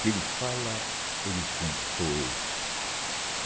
que ele fala, ele cumpre, sou eu.